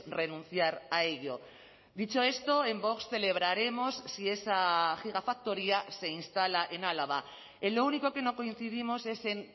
renunciar a ello dicho esto en vox celebraremos si esa gigafactoría se instala en álava en lo único que no coincidimos es en